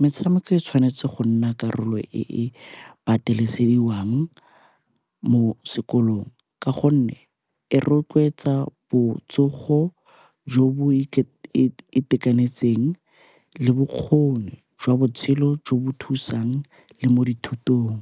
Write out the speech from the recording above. metshameko e tshwanetse go nna karolo e e patelesediwang mo sekolong ka gonne e rotloetsa botsogo jo bo itekanetseng le bokgoni jwa botshelo jo bo thusang le mo dithutong.